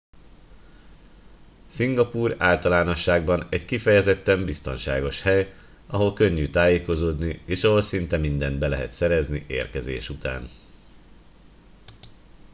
szingapúr általánosságban egy kifejezetten biztonságos hely ahol könnyű tájékozódni és ahol szinte mindent be lehet szerezni érkezés után